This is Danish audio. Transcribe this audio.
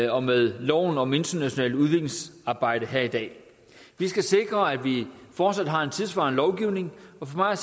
og med loven om internationalt udviklingsarbejde her i dag vi skal sikre at vi fortsat har en tidssvarende lovgivning og for mig